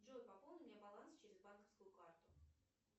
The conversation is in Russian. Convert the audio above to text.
джой пополни мне баланс через банковскую карту